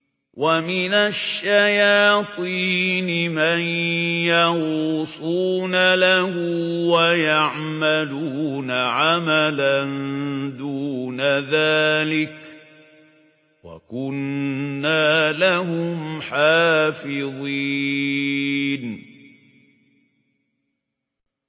وَمِنَ الشَّيَاطِينِ مَن يَغُوصُونَ لَهُ وَيَعْمَلُونَ عَمَلًا دُونَ ذَٰلِكَ ۖ وَكُنَّا لَهُمْ حَافِظِينَ